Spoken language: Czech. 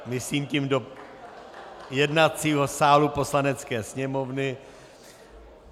Myslím tím do jednacího sálu Poslanecké sněmovny.